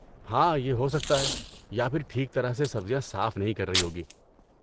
ہاں، یہ ہو سکتا ہے یا پھر ٹھیک طرح سے سبزیاں صاف نہیں کر رہی ہوگی۔